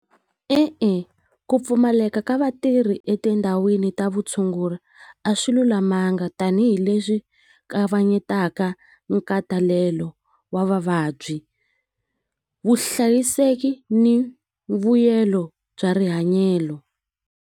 E-e ku pfumaleka ka vatirhi etindhawini ta vutshunguri a swi lulamanga tanihileswi kavanyetaka nkhatalelo wa vavabyi vuhlayiseki ni vuyelo bya .